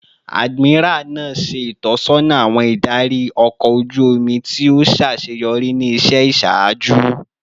Admiral naa ṣe itọsọna awọn idari ọkọ oju omi ti o ṣaṣeyọri ni iṣẹ iṣaaju